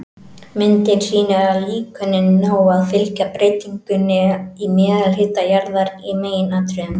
Myndin sýnir að líkönin ná að fylgja breytingum í meðalhita jarðar í meginatriðum.